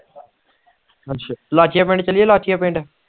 ਅੱਛਾ ਲਾਚੀਆਂ ਪਿੰਨ ਚਲੀਏ ਲਾਚੀਆਂ ਪਿੰਡ